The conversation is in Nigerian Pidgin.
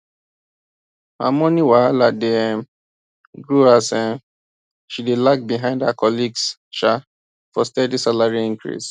her money wahala dey um grow as um she dey lag behind her colleagues um for steady salary increase